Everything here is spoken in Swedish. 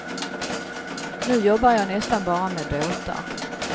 Nu jobbar jag nästan bara med båtar.